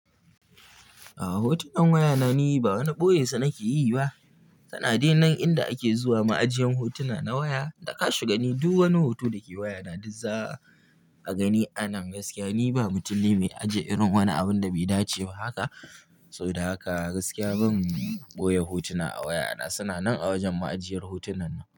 A'a hotunan wayana ni ba wani ɓoyensa nake yi ba. Kana dai nan inda ake zuwa ma'ajiyin hotuna na waya. Daka shiga ni duk wani hoto da ke waya na duk za a gani a nan gaskiya. Ni ba mutum ne mai ajiye irin wani abun da bai dace ba haka. Saboda haka gaskiya ban ɓoye hotuna a waya na. Suna nan a wajen ma'ajiyar hotunan nan.